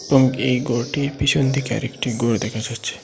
এবং এই গরটির পিছনদিকে আরেকটি গর দেখা যাচ্চে।